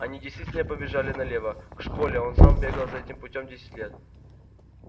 они действительно побежали налево к школе он сам бегал за этим путём десять лет